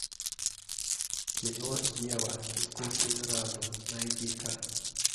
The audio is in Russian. кино ева искусственный разум найди ка